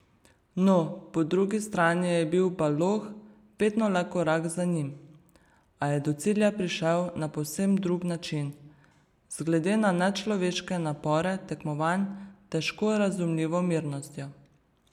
No, po drugi strani je bil Baloh vedno le korak za njim, a je do cilja prišel na povsem drug način, z, glede na nečloveške napore tekmovanj, težko razumljivo mirnostjo.